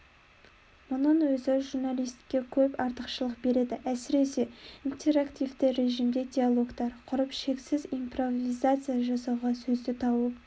мұның өзі журналистке көп артықшылық береді әсіресе интерактивті режимде диалогтар құрып шексіз импровизация жасауға сөзді тауып